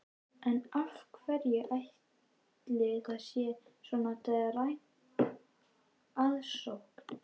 En af hverju ætli að það sé svona dræm aðsókn?